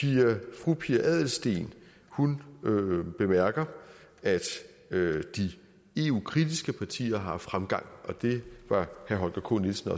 fru pia adelsteen bemærker at de eu kritiske partier har haft fremgang og det var herre holger k nielsen